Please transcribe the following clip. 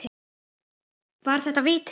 Var þetta víti?